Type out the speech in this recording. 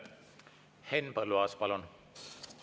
Henn Põlluaas, palun!